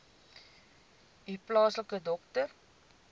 u plaaslike dokter